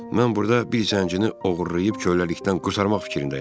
Mən burda bir zəncini oğurlayıb köləlikdən qurtarmaq fikrindəyəm.